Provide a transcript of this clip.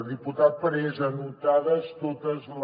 diputat parés anotats tots els